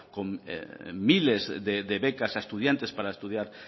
con miles de becas a estudiantes para estudiar